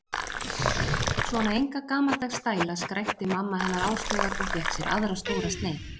Svona enga gamaldags stæla skrækti mamma hennar Áslaugar og fékk sér aðra stóra sneið.